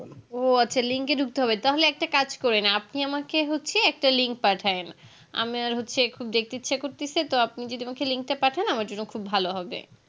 ও আচ্ছা link এ ঢুকতে হবে তাহলে একটা কাজ করে না আপনি নামাকে হচ্ছে একটা link পাঠায়েন আমার হচ্ছে একটু দেখতে দিচ্ছে করতেসে তো আপনি যদি আমাকে link টা পাঠান আমার জন্য খুব ভালো হবে